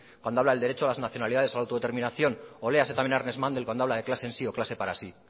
cuando habla del derecho a las nacionalidades a la autodeterminación o léase también a ernest mandel cuando habla de clase en sí o clase para sí